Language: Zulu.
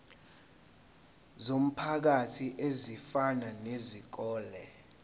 zomphakathi ezifana nezikole